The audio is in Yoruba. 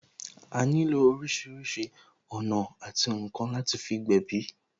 A nílò orísìírísìí ọ̀nà àti ǹkan láti fi gbèbí